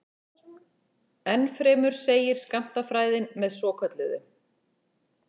Ennfremur segir skammtafræðin með svokölluðu